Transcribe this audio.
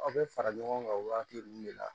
Aw bɛ fara ɲɔgɔn kan wagati min de la